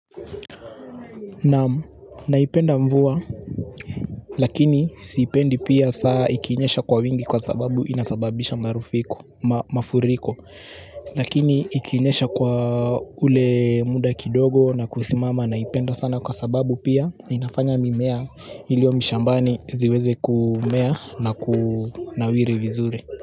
Naam, naipenda mvua. Lakini siipendi pia saa ikinyesha kwa wingi kwa sababu inasababisha mafuriko. Lakini ikinyesha kwa ule muda kidogo na kusimama naipenda sana kwa sababu pia inafanya mimea iliyo mashambani ziweze kumea na kunawiri vizuri.